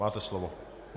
Máte slovo.